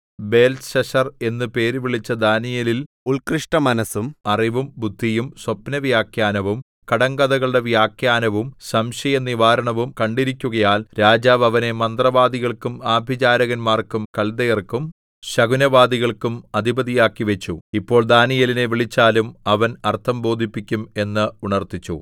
ബേൽത്ത്ശസ്സർ എന്ന് പേരുവിളിച്ച ദാനീയേലിൽ ഉൽകൃഷ്ടമനസ്സും അറിവും ബുദ്ധിയും സ്വപ്നവ്യാഖ്യാനവും കടങ്കഥകളുടെ വ്യാഖ്യാനവും സംശയനിവാരണവും കണ്ടിരിക്കുകയാൽ രാജാവ് അവനെ മന്ത്രവാദികൾക്കും ആഭിചാരകന്മാർക്കും കല്ദയർക്കും ശകുനവാദികൾക്കും അധിപതിയാക്കി വച്ചു ഇപ്പോൾ ദാനീയേലിനെ വിളിച്ചാലും അവൻ അർത്ഥം ബോധിപ്പിക്കും എന്ന് ഉണർത്തിച്ചു